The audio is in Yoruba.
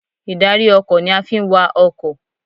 Ìdarí ọkọ̀ ni a fi ń wa ọkọ̀.